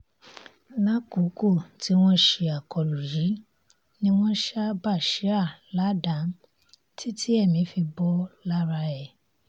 lákòókò tí wọ́n ṣe akólú yìí ni wọ́n ṣá bashir ládàá títí èmi fi bò lára ẹ̀